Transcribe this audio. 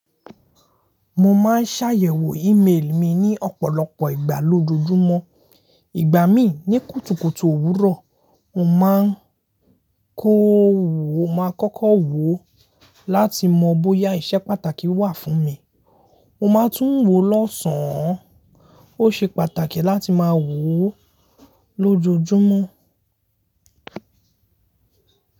Mo máa ń ṣàyẹ̀wò email mi ní ọ̀pọ̀lọpọ̀ ìgbà lójojúmọ́. Ìgbà mí ní kùtùkùtù òwúrọ̀, mo máa ń kọ wò, mo máa kọ́kọ́ wò ó láti mọ bóyá iṣẹ́ pàtàkì wà fún mi. Mo máa tún wò ó lọ́sàn án. Ó ṣe pàtàkì láti máa wò ó lójojúmọ́.